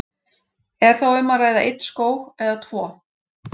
Er þá um að ræða einn skóg eða tvo?